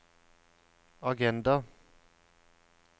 agenda